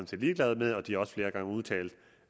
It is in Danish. set ligeglade med og de har også flere gange udtalt